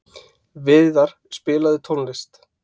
Víðar, spilaðu tónlist.